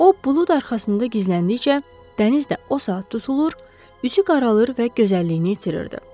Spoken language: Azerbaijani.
O bulud arxasında gizləndikcə, dəniz də o saat tutulur, üzü qaralır və gözəlliyini itirirdi.